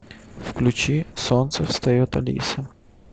включи солнце встает алиса